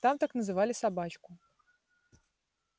там так называли собачку